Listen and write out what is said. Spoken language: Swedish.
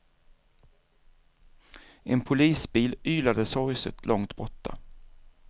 En polisbil ylade sorgset långt borta.